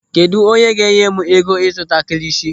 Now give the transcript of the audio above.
Kedụ onye ga-enye m ego ịzụta kilishi?